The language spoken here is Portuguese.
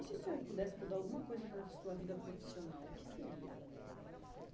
E se o senhor pudesse mudar alguma coisa na sua vida profissional, o que seria?